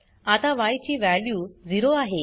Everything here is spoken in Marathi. आता य ची वॅल्यू 0 आहे